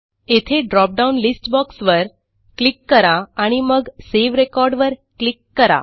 येथे drop down list box वर click करा आणि मगSave रेकॉर्ड वर क्लिक करा